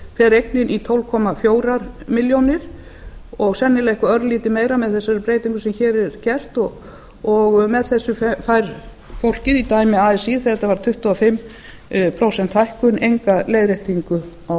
fer eignin í tólf komma fjórum milljónum sennilega eitthvað örlítið meira með þessari breytingu sem hér er gert og með þessu fær fólkið í dæmi así þegar þetta var tuttugu og fimm prósenta hækkun enga leiðréttingu á